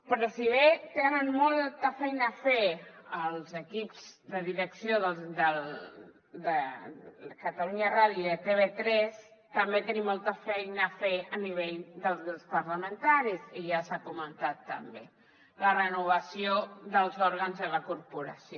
però si bé tenen molta feina a fer els equips de direcció de catalunya ràdio i de tv3 també tenim molta feina a fer a nivell dels grups parlamentaris i ja s’ha comentat també la renovació dels òrgans de la corporació